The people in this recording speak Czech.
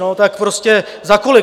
No tak prostě za kolik?